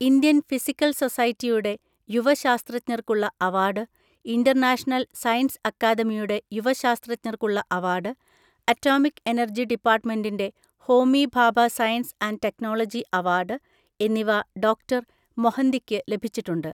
Indian physical സൊസൈറ്റിയുടെ യുവ ശാസ്ത്രജ്ഞർക്കുള്ള അവാർഡ്, ഇന്റർനാഷണൽ സയൻസ് അക്കാദമിയുടെ യുവ ശാസ്ത്രജ്ഞർക്കുള്ള അവാർഡ്, ആറ്റോമിക് എനർജി ഡിപ്പാർട്ട്മെന്റിന്റെ Homi Bhabha science and technology award എന്നിവ ഡോ. മൊഹന്തിക്ക് ലഭിച്ചിട്ടുണ്ട്.